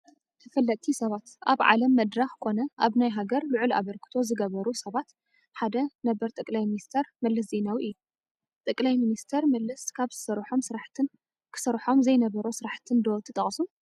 ተፈለጥቲ ሰባት፡- ኣብ ዓለም መድረኽ ኮነ ኣብ ናይ ሃገር ልዑል ኣበርክቶ ዝገበሩ ሰባት ሓደ ነበር ጠ/ ሚ/ መለስ ዜናዊ እዩ፡፡ ጠ/ሚ/ሚ መለስ ካብ ዝሰርሖም ስራሕትን ክሰርሖም ዘይነበሮ ስራሕትን ዶ ትጠቕሱ?